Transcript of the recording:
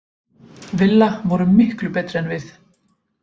Villa voru miklu betri en við.